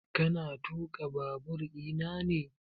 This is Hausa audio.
Ka na tuƙa babur ina ne?